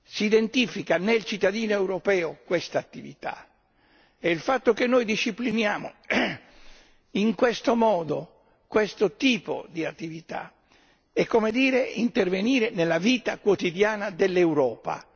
Si identifica nel cittadino europeo questa attività e il fatto che noi discipliniamo in questo modo questo tipo di attività è come dire intervenire nella vita quotidiana dell'Europa.